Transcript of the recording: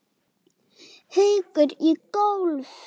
Haukur í golf.